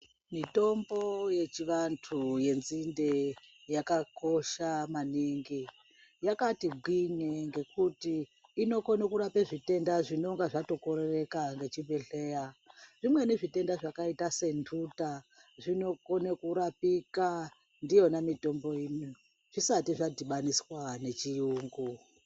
Mitombo yechivantu yenzinde yakakosha maningi yakati gwinye ngekuti inokone kurape svitenda zvinenga zvatokorereka ngechibhedhleya zvimweni zvitenda zvakaita setuta zvinokone kurapika ndiyona mitomboyi zvisati zvadhibanoswa nechiyungu.